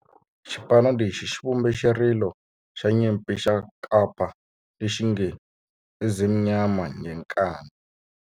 Xipano lexi xi vumbe xirilo xa nyimpi xa kampa lexi nge 'Ezimnyama Ngenkani'.